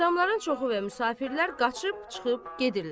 Adamların çoxu və müsafirlər qaçıb çıxıb gedirlər.